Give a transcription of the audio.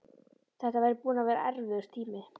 Þetta væri búinn að vera erfiður tími.